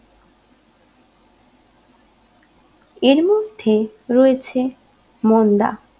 এরমধ্যে রয়েছে মন্দা